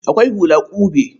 Akwai hula ƙube.